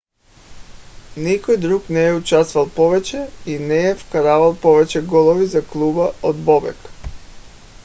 никой друг не е участвал повече и не е вкарвал повече голове за клуба от бобек